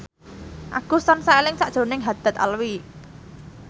Agus tansah eling sakjroning Haddad Alwi